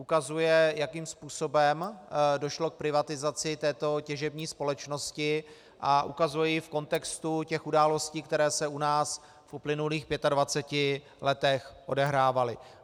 Ukazuje, jakým způsobem došlo k privatizaci této těžební společnosti, a ukazuje ji v kontextu těch událostí, které se u nás v uplynulých 25 letech odehrávaly.